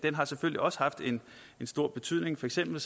har selvfølgelig også haft en stor betydning for eksempel